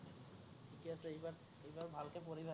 ঠিকেই আছে, এইবাৰ, এইবাৰ ভালকে পঢ়িবা